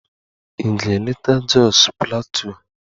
Ị ga-eleta Jos Plateau?